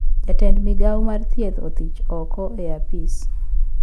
Jatend migao mar thieth othich oko e apis